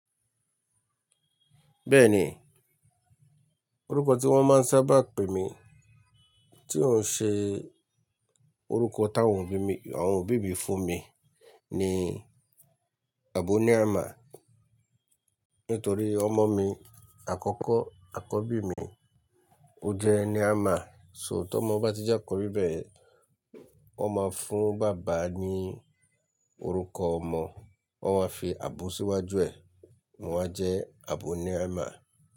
Bẹ́ẹ̀ni, orúkọ tí wọ́n máa ń sábà pè mí tí ó ń ṣe orúkọ táwọn òbí mi, àwọn òbí mi fún mi ni Àbóníhámà. Nítorí ọmọ mi àkọ́kọ́, àkọ́bí mi, ó jẹ́ ní Hámà. So tó mọ bá ti jákòbí bẹ́ẹ̀, wọ́n máa fún bàbá ní orúkọ ọmọ, wọ́n máa fi Àbó síwájú ẹ̀, mo máa jẹ́ Àbóníhámà.